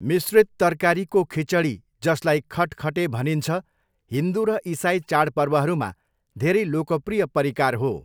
मिश्रित तरकारीको खिचडी जसलाई खटखटे भनिन्छ, हिन्दु र इसाइ चाडपर्वहरूमा धेरै लोकप्रिय परिकार हो।